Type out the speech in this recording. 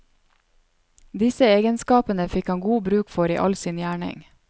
Disse egenskapene fikk han god bruk for i all sin gjerning.